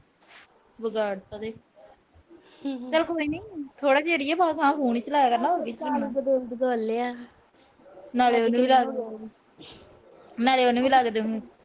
ਚੱਲ ਕੋਈ ਨੀ। ਬੱਸ ਥੋੜਾ ਚੀਰ ਈ ਆ। ਬਾਅਦ ਚ phone ਈ ਚਲਾਇਆ ਕਰਨਾ। ਨਾਲੇ ਉਹਨੂੰ ਵੀ ਲਾਦੇ ਹੁਣ।